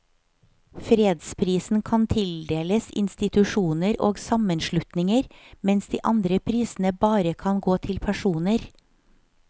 Fredsprisen kan tildeles institusjoner og sammenslutninger, mens de andre prisene bare kan gå til personer.